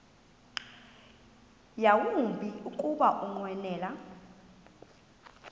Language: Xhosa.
yawumbi kuba ukunqwenela